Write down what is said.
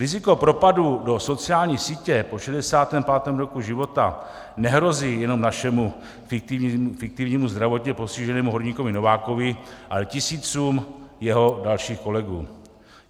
Riziko propadu do sociální sítě po 65. roku života nehrozí jenom našemu fiktivnímu zdravotně postiženému horníkovi Novákovi, ale tisícům jeho dalších kolegů.